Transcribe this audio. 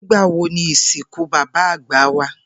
Nigbawo ni isinku baba agba wa?